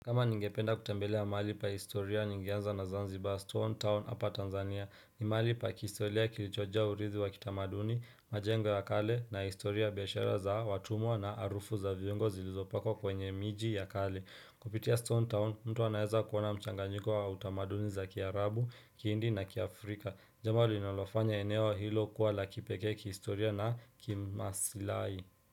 Kama ningependa kutembelea maali pa historia ningeanza na zanziba stone town hapa tanzania ni maali pa kistoria kilichojaa urithi wa kitamaduni majengo ya kale na historia ya biashara za watumwa na arufu za viongo zilizopako kwenye miji ya kale kupitia stone town mtu anaweza kuwana mchanga njiko wa utamaduni za kiarabu kiindi na kia afrika jambo linalofanya eneo hilo kuwa la kipeke kistoria na kimasilai.